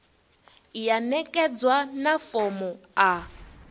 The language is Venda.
ya ṋekedzwa na fomo a